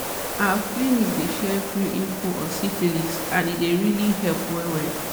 our clinic dey share free info on syphilis and e really dey help well well